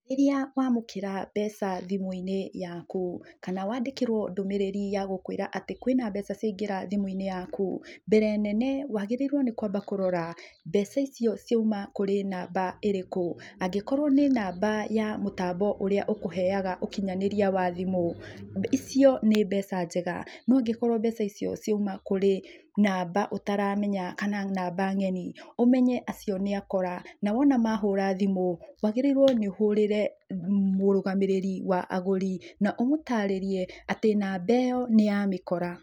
Rĩrĩa wamũkĩra mbeca thimũ-inĩ yaku, kana wandĩkĩrwo ndũmĩrĩri ya gũkwĩra atĩ kwĩna mbeca ciaingĩra thimũ-inĩ yaku, mbere nene, wagĩrĩirwo nĩkwamba kũrora mbeca icio ciauma kũrĩ namba ĩrĩkũ. Angĩkorwo nĩ namba ya mũtambo ũrĩa ũkũheaga ũkinyanĩria wa thimũ, icio nĩ mbeca njega. No angĩkorwo mbeca icio ciauma kũrĩ namba ũtaramenya kana namba ng'eni, ũmenye acio nĩ akora na wona mahũra thimũ, wagĩrĩirwo nĩ ũhũrĩre mũrũgamĩrĩri wa agũri na ũmũtarĩrie atĩ namba ĩyo nĩ ya mĩkora.